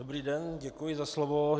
Dobrý den, děkuji za slovo.